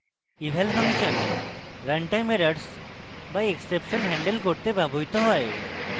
eval function run time errors বা exception handle করতে ব্যবহৃত হয়